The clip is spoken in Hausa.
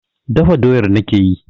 Dafa doyar nake yi.